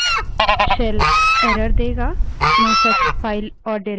cell error देगा no such file or directory ऐसी कोई फाइल या निर्देशिका नहीं है